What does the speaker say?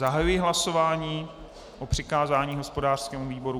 Zahajuji hlasování o přikázání hospodářskému výboru.